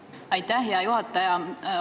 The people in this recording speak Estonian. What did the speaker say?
Aitäh, hea juhataja!